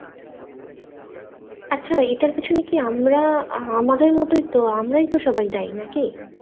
আচ্ছা এটা র পেছনে কি আমরা আমাদের মতই তো আমরাই তো সবাই দায়ী নাকি